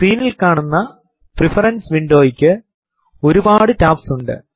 സ്ക്രീനിൽ കാണുന്ന പ്രഫറൻസ് വിൻഡോ ക്ക് ഒരുപാടു ടാബ്സ് ഉണ്ട്